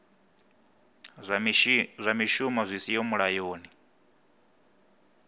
zwa mishumo zwi siho mulayoni